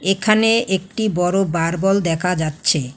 এখানে একটি বড়ো বারবল দেখা যাচ্ছে।